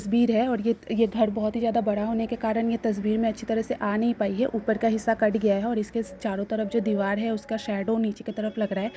तस्वीर है और ये ये घर बहोत ही ज्यादा बड़ा होने के कारण ये तस्वीर मे अच्छी तरह से आ नहीं पाई है ऊपर का हिस्सा कट गया है। इसके चारो तरफ जो दीवार है उसका शेडो नीचे की तरफ लग रहा है।